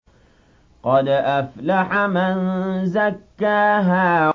قَدْ أَفْلَحَ مَن زَكَّاهَا